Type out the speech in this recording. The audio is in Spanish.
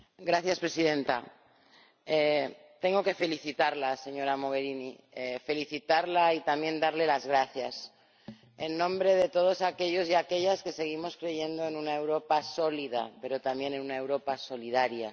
Señora Presidenta tengo que felicitarla, señora Mogherini, felicitarla y también darle las gracias en nombre de todos aquellos y aquellas que seguimos creyendo en una Europa sólida, pero también en una Europa solidaria.